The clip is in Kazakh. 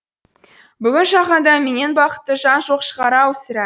бүгін жаһанда менен бақытты жан жоқ шығар ау сірә